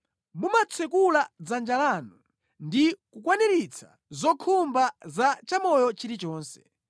Mumatsekula dzanja lanu ndi kukwaniritsa zokhumba za chamoyo chilichonse.